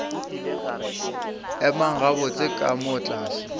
emang gabotse ka moo tlase